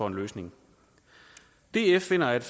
en løsning df finder at